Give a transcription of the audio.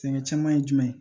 Sɛnɛ caman ye jumɛn ye